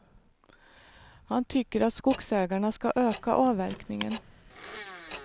Han tycker att skogsägarna ska öka avverkningen.